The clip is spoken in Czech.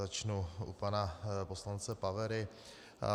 Začnu u pana poslance Pavery.